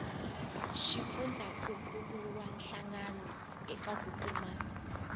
xifundzankuluwa hlangano eka ku kuma